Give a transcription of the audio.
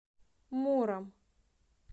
муром